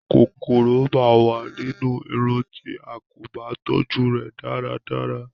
kòkòrò máa wà nínú Irun tí a kò bá tọ́jú rẹ̀ dára dára.